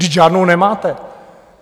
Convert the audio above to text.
Vždyť žádnou nemáte!